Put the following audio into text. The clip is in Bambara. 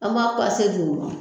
An b'a pase d'u ma